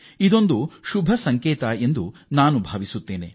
ಇದು ನಿಜಕ್ಕೂ ಉತ್ತಮ ಹೆಜ್ಜೆ ಎಂದು ನಾನು ಭಾವಿಸುತ್ತೇನೆ